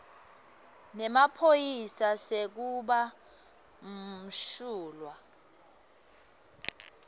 semaphoyisa sekuba msulwa